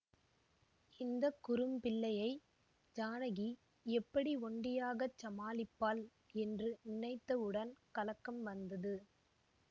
இந்த குறும் பிள்ளையை ஜானகி எப்படி ஒண்டியாகச் சமாளிப்பாள் என்று நினைத்தவுடன் கலக்கம் வந்தது